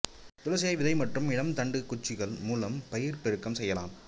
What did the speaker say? துளசியை விதை மற்றும் இளம் தண்டுக் குச்சிகள் மூலம் பயிர் பெருக்கம் செய்யலாம்